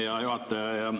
Hea juhataja!